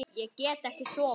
Ég get ekki sofið.